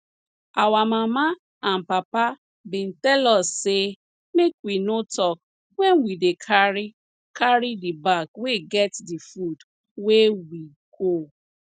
our mama and papa bin tell us say make we no talk when we dey carry carry the bag wey get the food wey we go